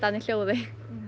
í hljóði